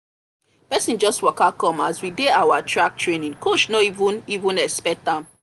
person just waka come as we dey our track training coach no even even expect am